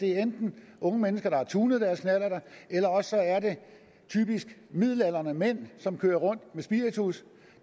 er enten unge mennesker der har tunet deres knallerter eller også er det typisk midaldrende mænd som kører rundt med spiritus